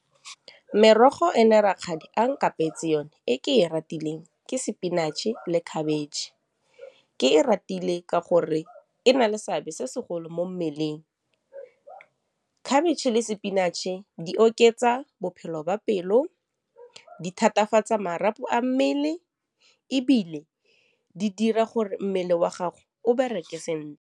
Merogo e ne rakgadi a nkapetse yone ke e ratile ke spinach-e le khabetšhe ke e ratile ka gore e na le seabe se segolo mo mmeleng khabetšhe le spinach-e di oketsa bophelo ba pelo di thatafatsa marapo a mmele ebile di dira gore mmele wa gago o bereke sentle.